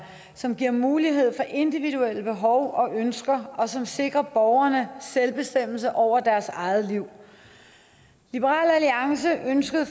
som giver mulighed for individuelle behov og ønsker og som sikrer borgerne selvbestemmelse over deres eget liv liberal alliance ønskede